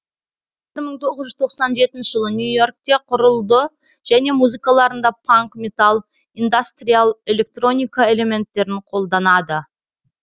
бір мың тоғыз жүз тоқсан жетінші жылы нью йоркте құрылды және музыкаларында панк металл индастриал электроника элементтерін қолданады